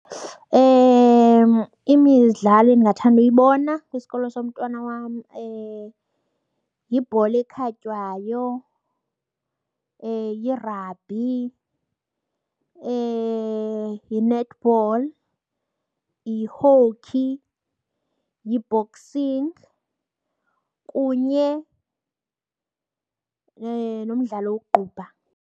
Imidlalo endingathanda ukuyibona kwisikolo somntwana wam yibhola ekhatywayo, yirabhi, yi-netball, yi-hockey, yi-boxing kunye nomdlalo wokuqubha.